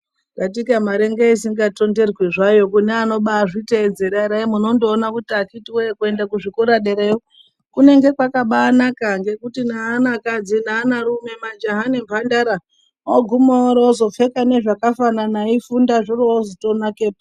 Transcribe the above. Katika mari ndoisinga tonderwi zvayo kune ano bazvitedzera muno ndoona kuti akiti woye kuenda kuzvikora derayo kunenge kwakabanaka ngekuti neana kadzi neana rume majaha nemhandara ogume orozopfeka zvakafanana eifunda zviro ozo tonakapo.